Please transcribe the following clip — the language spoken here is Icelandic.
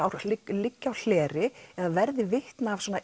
liggi á hleri eða verði vitni að svona